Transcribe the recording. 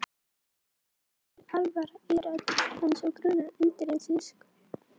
Það var mikil alvara í rödd hans og mig grunaði undireins hvað var að.